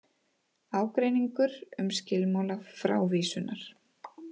Ágreiningur um skilmála frávísunar